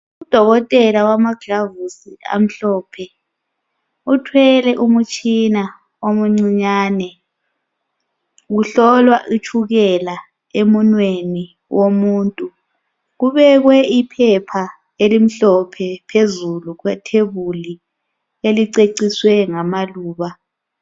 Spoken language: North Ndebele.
Udokotela wamagilavusi amhlophe, uthwele umtshina omuncinyane. Kuhlolwa itshukela emunweni womuntu kubekwe iphepha elimhlophe phezulu kwethebuli eliceciswe ngamaluba.